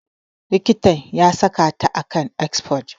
Likitan ya saka ta a kan exforge.